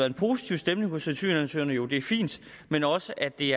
en positiv stemning hos asylansøgerne og jo det er fint men også at det